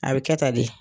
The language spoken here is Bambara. A bɛ kɛ tan de